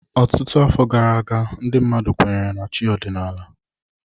Ọtụtụ afọ gara aga ndị mmadụ kweere na chi ọdịnala.